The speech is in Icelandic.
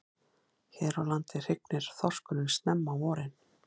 Hér á landi hrygnir þorskurinn snemma á vorin.